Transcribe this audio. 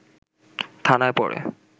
থানায় পড়ে